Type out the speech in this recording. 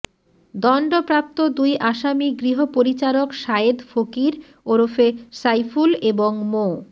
দণ্ডপ্রাপ্ত দুই আসামি গৃহপরিচারক সায়েদ ফকির ওরফে সাইফুল এবং মো